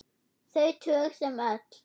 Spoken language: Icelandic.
Þau tög sem öll.